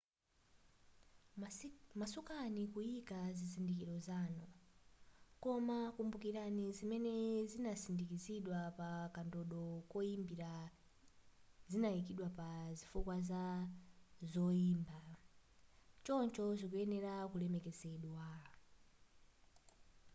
masukani kuyika zizindikilo zanu koma kumbukilani zimene zinasindikizidwa pa kandodo koyimbira zinayikidwa pa zifukwa za zoyimba choncho zikuyenela kulemekezedwa